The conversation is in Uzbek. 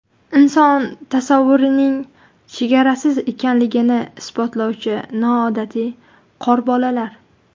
Inson tasavvurining chegarasiz ekanligini isbotlovchi noodatiy qorbolalar .